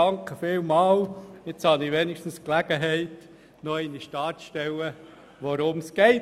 Vielen Dank, jetzt habe ich wenigstens die Gelegenheit, noch einmal darzustellen, worum es geht.